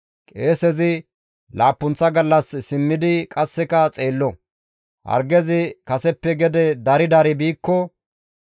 Qeesezi laappunththa gallas simmidi qasseka xeello; hargezi kaseppe gede dari dari biikko,